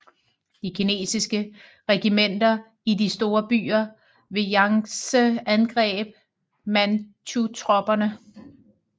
De kinesiske regimenter i de store byer ved Jangtse angreb manchutropperne